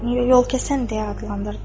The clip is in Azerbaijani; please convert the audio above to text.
Yol kəsən deyə adlandırdı.